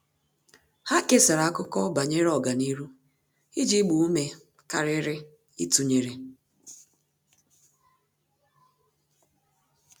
Há kèsàrà ákụ́kọ́ banyere ọ́gànihu iji gbaa ume kàrị́rị́ ítụ́nyéré.